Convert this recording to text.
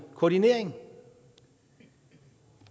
koordinering